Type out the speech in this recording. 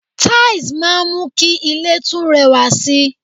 Tiles máa ń mú kí ilè tún rẹwà sì